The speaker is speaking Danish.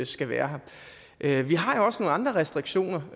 skal være her vi har jo også nogle andre restriktioner